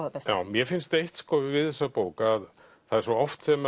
það besta mér finnst eitt við þessa bók að er svo oft sem